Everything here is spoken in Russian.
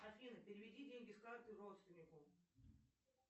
афина переведи деньги с карты родственнику